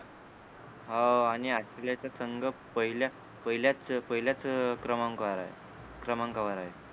हो आणि ऑस्ट्रेलियाचा संघ पहिल्याच पहिल्याच पहिल्याच अं क्रमांकावर आहे क्रमांकावर आहे